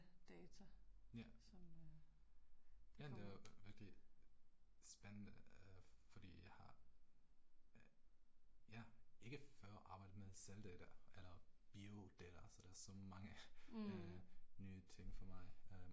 Ja. Ja det er jo rigtig spændende fordi jeg har øh ja, ikke før arbejdet med celledata eller biodata så der er sådan mange øh nye ting for mig øh